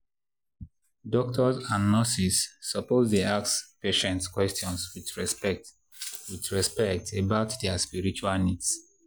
doctors and nurses suppose dey ask patients question with respect with respect about their spiritual needs.